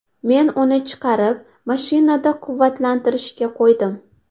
Men uni chiqarib, mashinada quvvatlantirishga qo‘ydim.